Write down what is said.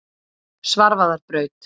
Svarfaðarbraut